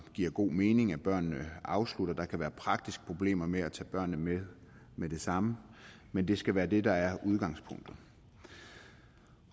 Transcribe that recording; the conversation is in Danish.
det giver god mening at børnene afslutter der kan være praktiske problemer med at tage børnene med med det samme men det skal være det der er udgangspunktet